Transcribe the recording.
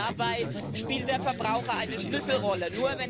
Dabei spielt der Verbraucher eine Schlüsselrolle.